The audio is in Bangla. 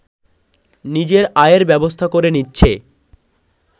নিজের আয়ের ব্যবস্থা করে নিচ্ছে